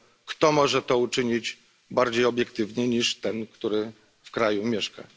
Kto może to uczynić bardziej obiektywnie niż ten, który w tym kraju mieszka?